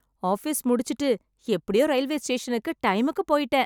Office முடிச்சிட்டு எப்படியோ railway ஸ்டேஷனுக்கு டைமுக்கு போயிட்டேன்.